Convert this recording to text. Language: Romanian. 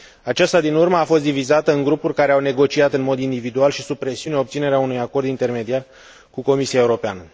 Aceasta din urmă a fost divizată în grupuri care au negociat în mod individual și sub presiuni obținerea unui acord intermediar cu Comisia Europeană.